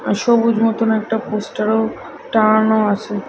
আর সবুজ মতন একটা পোস্টারও টাঙানো আছে।